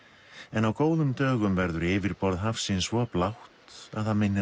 en á góðum dögum verður yfirborð hafsins svo blátt að það minnir